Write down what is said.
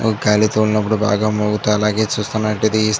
గాలి తోలి నప్పుడు బాగా మోగుతూ అలాగే చూస్తున్నట్లయితే ఆది --